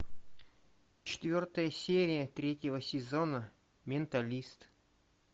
четвертая серия третьего сезона менталист